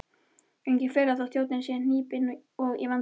Engin furða þótt þjóðin sé hnípin og í vanda.